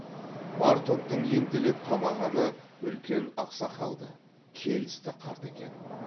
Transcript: бар топтың ентелеп қамағаны үлкен ақ сақалды келісті қарт екен